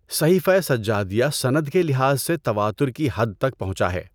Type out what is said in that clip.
صحیفہ سجادیہ سند کے لحاظ سے تواتر کی حد تک پہنچا ہے۔